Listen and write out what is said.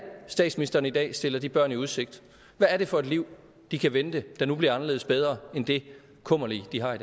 er statsminsteren i dag stiller de børn i udsigt hvad er det for et liv de kan vente der nu bliver anderledes bedre end det kummerlige de har